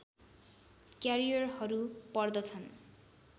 क्यारियरहरू पर्दछन्